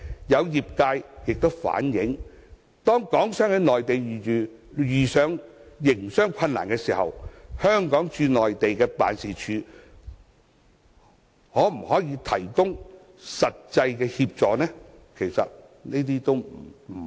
有業界亦反映，當港商在內地遇上營商困難時，香港駐內地的辦事處可以提供的協助不多。